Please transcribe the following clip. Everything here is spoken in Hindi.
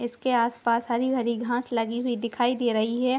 इसके आस पास हरी-भरी घास लगी हुई दिखाई दे रही है।